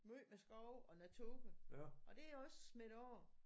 Måj med skove og naturen og det er også smittet af